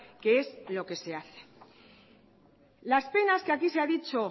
que es lo que se hace las penas que aquí se han dicho